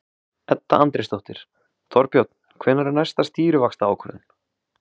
Edda Andrésdóttir: Þorbjörn, hvenær er næsta stýrivaxtaákvörðun?